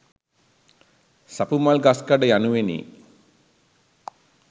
සපුමල් ගස්කඩ යනුවෙනි.